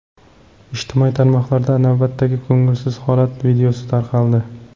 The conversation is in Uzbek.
Ijtimoiy tarmoqlarda navbatdagi ko‘ngilsiz holat videosi tarqaldi.